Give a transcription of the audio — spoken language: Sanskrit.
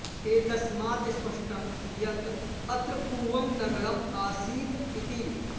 एतस्मात् स्पष्टं यत् अत्र पूवं नगरम् आसीत् इति